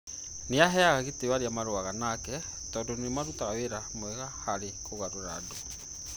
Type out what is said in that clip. Nĩ aheaga gĩtĩo arĩa marũaga nake tondũ nĩ marutaga wĩra mwega harĩ kũgarũra andũ.